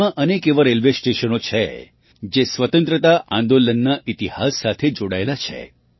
દેશમાં અનેક એવાં રેલવે સ્ટેશનો છે જે સ્વતંત્રતા આંદોલનના ઇતિહાસ સાથે જોડાયેલાં છે